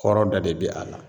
Kɔrɔ dɛ de bi a la.